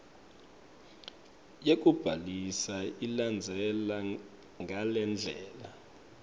yekubhalisa ilandzela ngalendlela